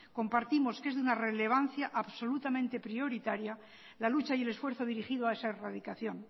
compartimos que es de una relevancia absolutamente prioritaria la lucha y el esfuerzo dirigido a esa erradicación